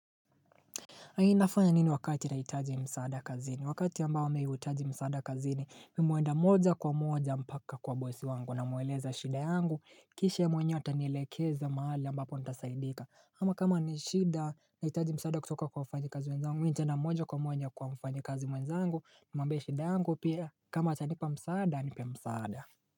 Ninafanya nini wakati na hitaji msaada kazini? Wakati ambao mimi huhitaji msaada kazini, mimi huenda moja kwa moja mpaka kwa bosi wangu namweleza shida yangu, kisha ye mwenyewe atanielekeza mahali ambapo nitasaidika. Ama kama ni shida na hitaji msaada kutoka kwa wafanyi kazi wenzangu, nitaenda moja kwa moja kwa mfanyi kazi mwenzangu, namwambia shida yangu pia kama atanipa msaada, anipe msaada.